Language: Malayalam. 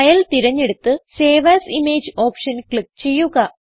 ഫൈൽ തിരഞ്ഞെടുത്ത് save as image option click ചെയ്യുക